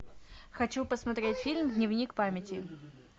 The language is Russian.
хочу посмотреть фильм дневник памяти